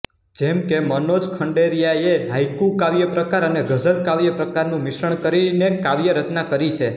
જેમ કે મનોજ ખંડેરિયાએ હાઇકુ કાવ્યપ્રકાર અને ગઝલ કાવ્યપ્રકારનું મિશ્રણ કરીને કાવ્યરચના કરી છે